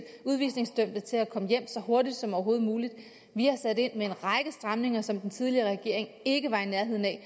udvisningsdømte til at komme hjem så hurtigt som overhovedet muligt vi har sat ind med en række stramninger som den tidligere regering ikke var i nærheden af